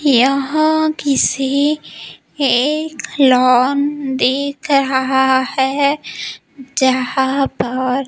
यह किसी एक लॉन दिख रहा है जहां पर--